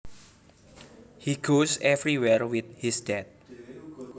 He goes everywhere with his dad